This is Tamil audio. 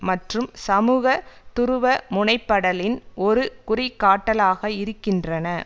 மற்றும் சமூக துருவ முனைப்படலின் ஒரு குறி காட்டலாக இருக்கின்றன